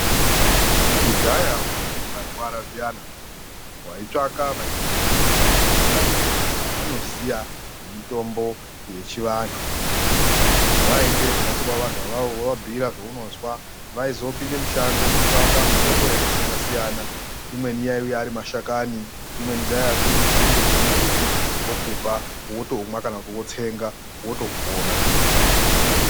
Kudhaya waiti ukarwara zviyana waitsvaka vaitozikanwa muntaraunda kuti vantu ava vanoziya zvemitombo yechivantu , waende kumhatso kwawo vantu avavo wovabhiira zvaunozwa , vaizopinde mushango kotsvaka mitombo yakasiyana siyana imweni yaiuya arimashakani , imweni dzaiya dzirimunzinde dzemumbuti vokupa wotomwa kana kuti wotsenga wotopona.